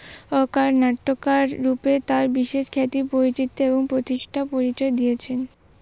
নাট্যকার রূপে তার বিশেষ খ্যাতি পরিচিতি এবং প্রতিষ্ঠা পরিচয় দিয়েছেন।